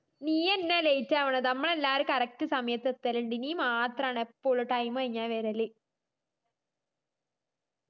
നീയെന്നെയാ late ആവണത് നമ്മളെല്ലാരും correct സമയത് എത്തലിൻഡ് നീ മാത്രാണ് എപ്പഴും time കഴിഞ്ഞാ വെരല്